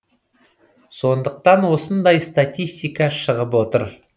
сондықтан осындай статистика шығып отыр